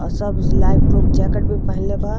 और सब light proof jacket भी पहनले बा --